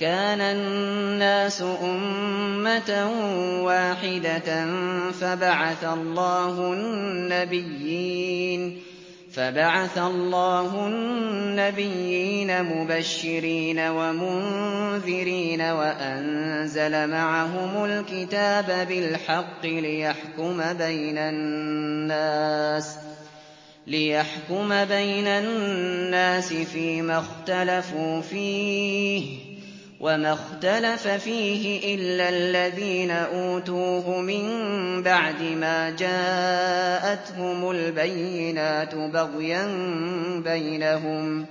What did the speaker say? كَانَ النَّاسُ أُمَّةً وَاحِدَةً فَبَعَثَ اللَّهُ النَّبِيِّينَ مُبَشِّرِينَ وَمُنذِرِينَ وَأَنزَلَ مَعَهُمُ الْكِتَابَ بِالْحَقِّ لِيَحْكُمَ بَيْنَ النَّاسِ فِيمَا اخْتَلَفُوا فِيهِ ۚ وَمَا اخْتَلَفَ فِيهِ إِلَّا الَّذِينَ أُوتُوهُ مِن بَعْدِ مَا جَاءَتْهُمُ الْبَيِّنَاتُ بَغْيًا بَيْنَهُمْ ۖ